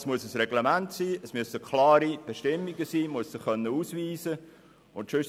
Es muss ein Reglement geben, es muss klare Bestimmungen geben, und die Kontrollierenden müssen sich ausweisen können.